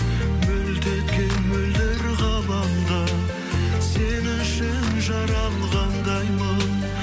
мөлт еткен мөлдір ғаламда сен үшін жаралғандаймын